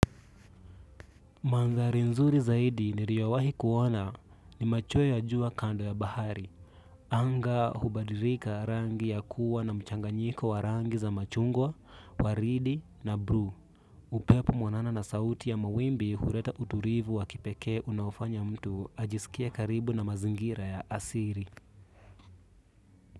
Mandhari nzuri zaidi niriowahi kuona ni machoe ya jua kando ya bahari. Anga hubadirika rangi ya kuwa na mchanganyiko wa rangi za machungwa, waridi na bru. Upepo mwanana na sauti ya mawimbi hureta uturivu wa kipeke unaofanya mtu ajisikie karibu na mazingira ya asiri.